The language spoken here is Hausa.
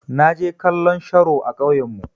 Na je kallon sharo a ƙauyan mu.